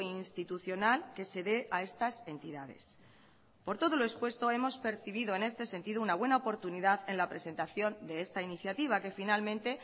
institucional que se dé a estas entidades por todo lo expuesto hemos percibido en este sentido una buena oportunidad en la presentación de esta iniciativa que finalmente